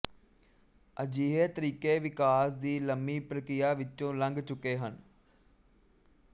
ਅਜਿਹੇ ਤਰੀਕੇ ਵਿਕਾਸ ਦੀ ਲੰਮੀ ਪ੍ਰਕ੍ਰਿਆ ਵਿਚੋਂ ਲੰਘ ਚੁੱਕੇ ਹਨ